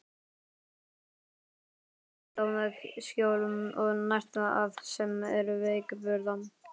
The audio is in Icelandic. Maður getur veitt skjól og nært það sem er veikburða.